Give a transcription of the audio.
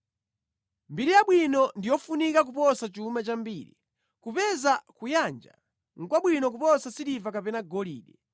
Mbiri yabwino ndi yofunika kuposa chuma chambiri; kupeza kuyanja nʼkwabwino kuposa siliva kapena golide.